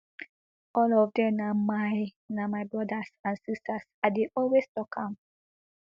all of dem na my na my brothers and sisters i dey always tok am